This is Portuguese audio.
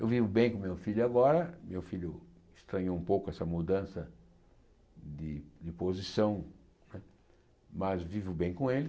Eu vivo bem com meu filho agora, meu filho estranhou um pouco essa mudança de de posição, mas vivo bem com ele.